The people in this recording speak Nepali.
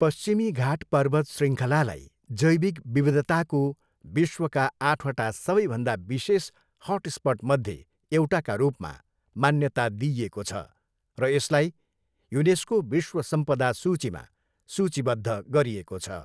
पश्चिमी घाट पर्वत शृङ्खलालाई जैविक विविधताको विश्वका आठवटा सबैभन्दा विशेष हटस्पटमध्ये एउटाका रूपमा मान्यता दिइएको छ र यसलाई युनेस्को विश्व सम्पदा सूचीमा सूचीबद्ध गरिएको छ।